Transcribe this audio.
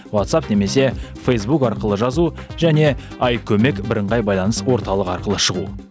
ватсапп немесе фэйзбук арқылы жазу және айкөмек бірыңғай байланыс орталығы арқылы шығу